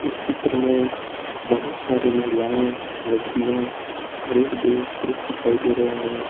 इस चित्र में बहुत सारी महिलाएं लड़कियां और एक दो पुरुष दिखाई दे रहे है।